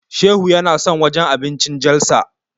Shehu yana son wajen abincin Jalsa.